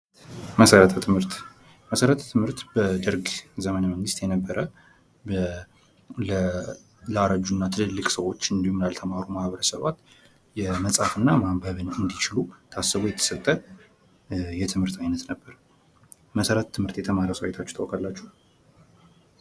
መሰረተ ትምህርት ። መሰረተ ትምህርት በደርግ ዘመነ መንግስት የነበረ ለአረጁ እና ትልልቅ ሰዎች እንዲሁም ላልተማሩ ማኅበረሰባት የመፃፍ እና ማንበብ እንዲችሉ ታስቦ የተሰጠ የትምህርት አይነት ነበር ። መሰረተ ትምህርት የተማረ ሰው አይታችሁ ታውቃላችሁ?